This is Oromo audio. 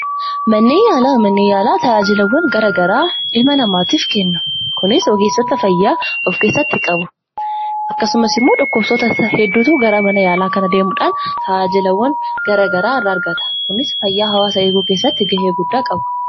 Manni yaalaa tajaajila garagaraa ilma namaatiif kenna. Kunis ogeessota fayyaa of keessatti qabu. Akkasumas dhukkubsattoota hedduutu gara mana yaalaa kana deemuudhaan tajaajila adda addaa irraa argata. Kunis fayyaa hawaasaa eeguu keesstti gahee guddaa qabu.